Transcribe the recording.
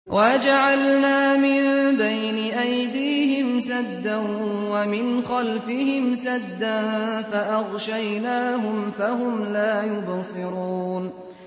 وَجَعَلْنَا مِن بَيْنِ أَيْدِيهِمْ سَدًّا وَمِنْ خَلْفِهِمْ سَدًّا فَأَغْشَيْنَاهُمْ فَهُمْ لَا يُبْصِرُونَ